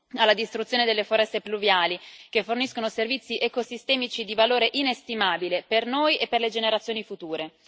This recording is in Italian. alla distruzione delle foreste pluviali, che forniscono servizi ecosistemici di valore inestimabile per noi e per le generazioni future.